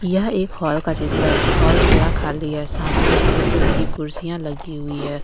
यह एक हॉल का चित्र है हाल पूरा खाली है सामने ब्लू कलर की कुर्सियां लगी हुई हैं।